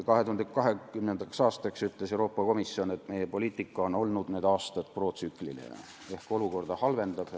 2020. aastal ütles Euroopa Komisjon, et meie poliitika on olnud need aastad protsükliline ehk olukorda halvendav.